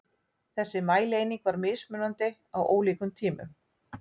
Þessi mælieining var mismunandi á ólíkum tímum.